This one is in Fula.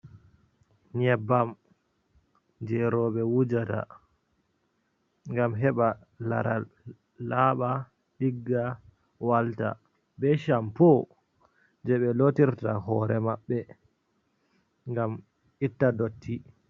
Nyeɓɓam je roɓe wujata, ngam heɓa laral laɓa, ɗigga, walta. Ɓe champo je ɓe lotirta hore maɓɓe, ngam itta ɗotti.